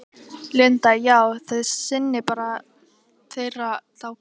Linda: Já, þið sinnið bara þeirra þá kalli?